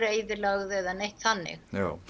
eyðilögð eða neitt þannig